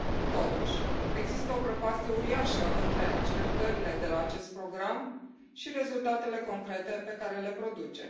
Totuși, există o prăpastie uriașă între așteptările de la acest program și rezultatele concrete pe care le produce.